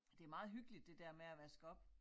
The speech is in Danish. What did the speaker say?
Det meget hyggeligt det dér med at vaske op